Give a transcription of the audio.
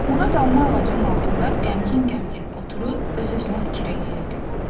Murad alma ağacının altında qəmgin-qəmgin oturub öz-özünə fikir eləyirdi.